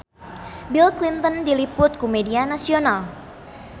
Bill Clinton diliput ku media nasional